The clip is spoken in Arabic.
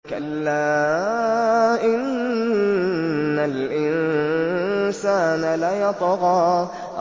كَلَّا إِنَّ الْإِنسَانَ لَيَطْغَىٰ